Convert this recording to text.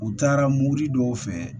U taara mobili dɔw fɛ